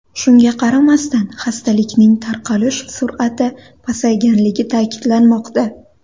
Shunga qaramasdan, xastalikning tarqalish sur’ati pasayganligi ta’kidlanmoqda.